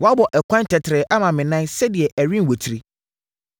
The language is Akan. Woabɔ ɛkwan tɛtrɛɛ ama me nan sɛdeɛ ɛrenwatiri.